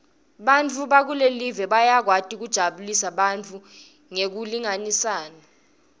bantfu bakulelive bayakwati kujabulisa bantfu ngekulingisana